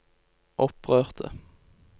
opprørte